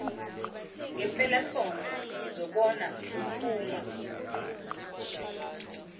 mpelasonto ngizobona lophuma